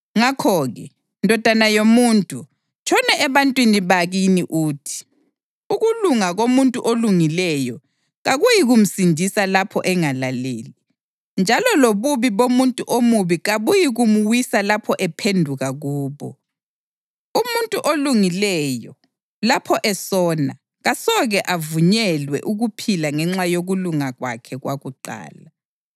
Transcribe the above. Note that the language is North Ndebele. Ngakho-ke, ndodana yomuntu, tshono ebantwini bakini uthi, ‘Ukulunga komuntu olungileyo kakuyikumsindisa lapho engalaleli, njalo lobubi bomuntu omubi kabuyikumwisa lapho ephenduka kubo. Umuntu olungileyo, lapho esona, kasoke avunyelwe ukuphila ngenxa yokulunga kwakhe kwakuqala.’